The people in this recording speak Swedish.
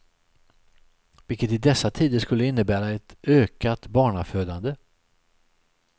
Vilket i dessa tider skulle innebära ett ökat barnafödande.